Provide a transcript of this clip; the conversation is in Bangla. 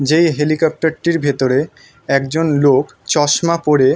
যে হেলিকোপটারটির ভেতরে একজন লোক চশমা পরে।